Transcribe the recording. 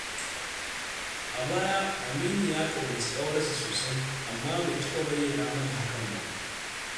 A baya, Aminu ya ƙaunaci ƙawarsa sosai, amma bai taɓa bayyana mata hakan ba.